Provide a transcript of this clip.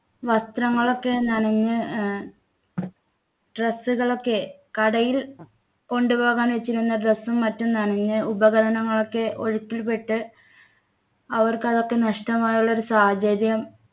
വസ്ത്രങ്ങൾ ഒക്കെ നനഞ്ഞ് ഏർ dress കൾ ഒക്കെ കടയിൽ കൊണ്ടുപോകാൻ വച്ചിരുന്ന dress ഉം മറ്റും നനഞ്ഞു ഉപകരണങ്ങളൊക്കെ ഒഴുക്കിൽപ്പെട്ട് അവർക്ക് അതൊക്കെ നഷ്ടമായുള്ള ഒരു സാഹചര്യം